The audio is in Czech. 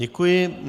Děkuji.